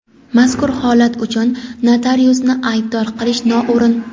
mazkur holat uchun notariusni aybdor qilish noo‘rin..